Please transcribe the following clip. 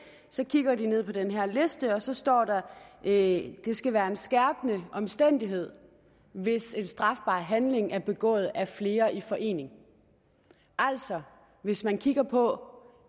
så kigger de ned på den her liste og så står der at det skal være en skærpende omstændighed hvis en strafbar handling er begået af flere i forening altså hvis man kigger på